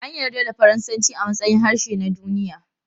An yarda da Faransanci a matsayin harshe na duniya.